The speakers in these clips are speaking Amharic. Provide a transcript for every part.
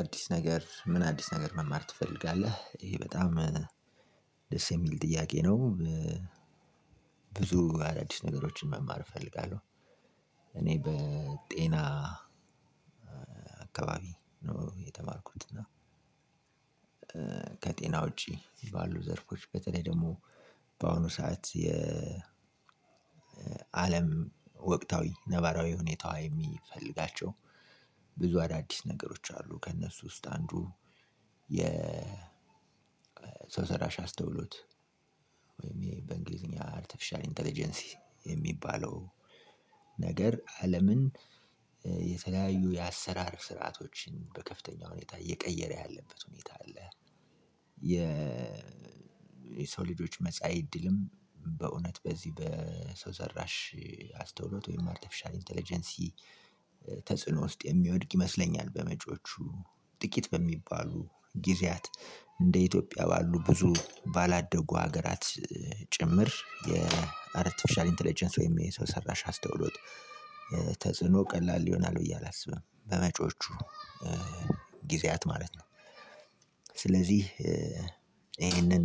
አዲስ ነገር ምን አዲስ ነገር መማር ትፈልጋለህ ይሄ በጣም ደስ የሚል ጥያቄ ነው? ብዙ አዳዲስ ነገሮችን መማር እፈልጋለሁ። እኔ በጤና አካባቢ ነው የተማርኩት። እና ከጤና ውጪ ባሉ ዘርፎች በተለይ ደግሞ በአሁኑ ሰዓት። የአለም ወቅታዊ ነባራዊ ሁኔታው የሚፈልጋቸው ብዙ አዳዲስ ነገሮች አሉ ከእነሱ ውስጥ አንዱ የ ሰው ሰራሽ አስተውሎት በእንግሊዝ አርተፊሻል ኢንተለጀንስ የሚባለው ነገር አለምን የተለያዩ የአሰራር ስርዓቶችን በከፍተኛ ሁኔታ እየቀየረ ያለበት ሁኔታ አለ። የ የሰው ልጆች መጻኢ እድልም በእውነት በዚህ በሰው ሰራሽ አስተውሎት ወይም አርቴፊሻል ኢንተለጀንሲ ተጽዕኖ ውስጥ የሚወድቅ ይመስለኛል። በመጪዎቹ ጥቂት በሚባሉ ጊዜያት እንደ ኢትዮጵያ ባሉ ብዙ ባላደጉ ሀገራት ጭምር የአርቲፊሻል ኢንተለጀንስ ወይም የሰው ሰራሽ አስተውሎት ተጽዕኖ ቀላል ይሆናል ብዬ አላስብም። በመጪዎቹ ጊዜያት ማለት ነው። ስለዚህ ይሄንን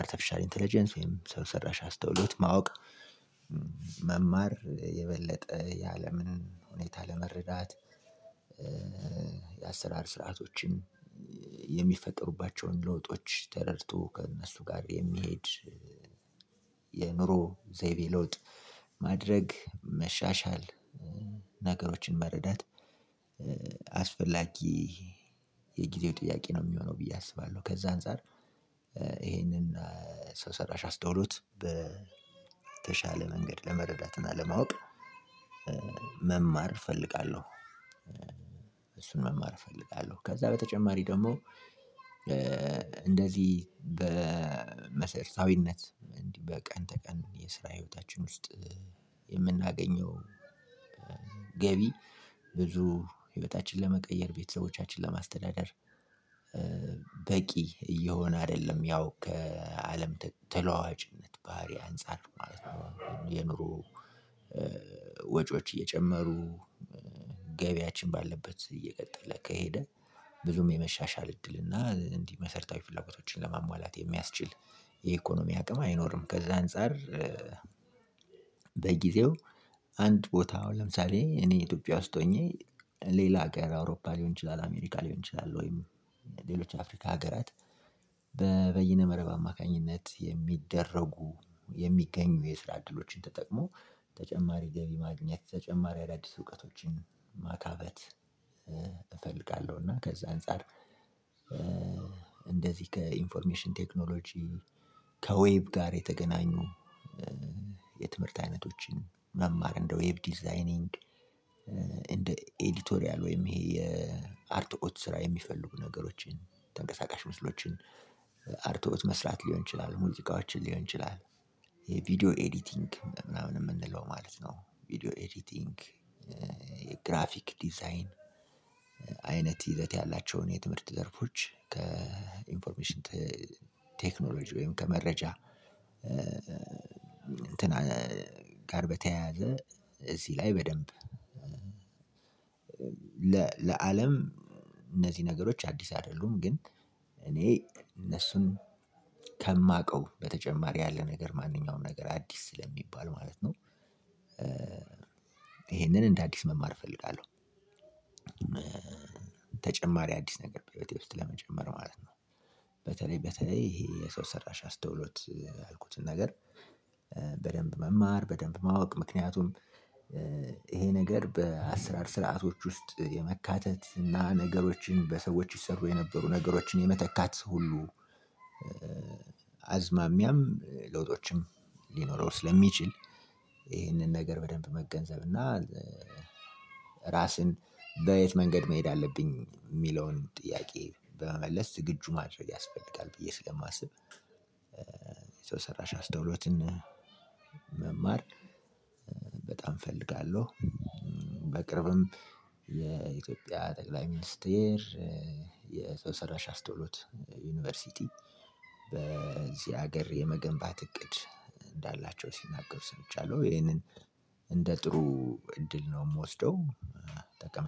አርተፊሻል ኢንተለጀንስ ወይም ሰው ሰራሽ አስተውሎት ማወቅ መማር የበለጠ የአለምን ሁኔታ ለመረዳት የአሰራር ስርዓቶችን የሚፈጠሩባቸውን ለውጦች ተረድቶ ከእነሱ ጋር የሚሄድ የአእምሮ ዘይቤ ለውጥ ማድረግ መሻሻል ነገሮችን መረዳት አስፈላጊ የጊዜው ጥያቄ ነው የሚሆነው ብዬ አስባለሁ። ከዛ አንፃር ይሄንን ሰው ሰራሽ አስተውሉት በተሻለ መንገድ ለመረዳትና ለማወቅ መማር እፈልጋለሁ። እሱን መማር እፈልጋለሁ። ከዛ በተጨማሪ ደግሞ እንደዚህ በመሰረታዊነት እንዲህ በቀን ተቀን እንዲህ የስራ ሂዎታችን ውስጥ የምናገኘው ገቢ ብዙ ህይወታችን ለመቀየር ቤተሰቦቻችን ለማስተዳደር በቂ እየሆነ አይደለም። ያው ከአለም ተለዋዋጭነት ባህሪ አንፃር ማለት ነው የኑሮ ወጪዎች እየጨመሩ ገቢያችን ባለበት እየቀጠለ ከሄደ ብዙም የመሻሻል እድል እና እንዲህ መሰረታዊ ፍላጎቶችን ለማሟላት የሚያስችል የኢኮኖሚ አቅም አይኖርም። ከዛ አንፃር በጊዜው አንድ ቦታ ለምሳሌ እኔ ኢትዮጵያ ውስጥ ሆኜ ሌላ ሀገር አውሮፓ ሊሆን ይችላል አሜሪካ ሊሆን ይችላል ወይም ሌሎች አፍሪካ ሀገራት በበይነ መረብ አማካኝነት የሚደረጉ የሚገኙ የስራ እድሎችን ተጠቅሞ ተጨማሪ ገቢ ማግኘት ተጨማሪ አዳዲስ እውቀቶችን ማካበት እፈልጋለሁ። እና ከዛ አንፃር እንደዚህ ከኢንፎርሜሽን ቴክኖሎጂ ከዌብ ጋር የተገናኙ የትምህርት አይነቶችን መማር እንደ ዌብ ዲዛይኒንግ እንደ ኤዲቶሪያል ወይም ይሄ የአርትቆት ስራ የሚፈልጉ ነገሮችን ተንቀሳቃሽ ምስሎችን አርቶት መስራት ሊሆን ይችላል ሙዚቃዎችን ሊሆን ይችላል የቪዲዮ ኤዲቲንግ ምናምን የምንለው ማለት ነው። ቪዲዮ ኤዲቲንግ የግራፊክ ዲዛይን አይነት ይዘት ያላቸውን የትምህርት ዘርፎች ከኢንፎርሜሽን ቴክኖሎጂ ወይም ከመረጃ እንትን ጋር በተያያዘ እዚህ ላይ በደንብ ለአለም እነዚህ ነገሮች አዲስ አይደሉም ግን እኔ እነሱን ከማውቀው በተጨማሪ ያለ ነገር ማንኛውንም ነገር አዲስ ስለሚባል ማለት ነው። ይሄንን እንደ አዲስ መማር እፈልጋለሁ። ተጨማሪ አዲስ ነገር በሂዎቴ ውስጥ ለመጨመር ማለት ነው። በተለይ በተለይ ይሄ የሰው ሰራሽ አስተውሎት አልኩትን ነገር በደንብ መማር በደንብ ማወቅ ምክንያቱም ይሄ ነገር በአስራር ስርዓቶች ውስጥ የመካተት እና ነገሮችን በሰዎች ይሰሩ የነበሩ ነገሮችን የመተካት ሁሉ አዝማሚያም ለውጦችም ሊኖረው ስለሚችል። ይሄንን ነገር በደንብ መገንዘብ እና ራስን በየት መንገድ መሄድ አለብኝ የሚለውን ጥያቄ በመመለስ ዝግጁ ማድረግ ያስፈልጋል ብዬ ስለማስብ ሰራሽ አስተውሎትን መማር በጣም እፈልጋለሁ። በቅርብም የኢትዮጵያ ጠቅላይ ሚኒስቴር የሰው ሰራሽ አስተውሎት ዩኒቨርሲቲ በዚህ ሀገር የመገንባት እቅድ እንዳላቸው ሲናገሩ ሰምቻለሁ ይሄንን እንደ ጥሩ እድል ነው የምወስደው።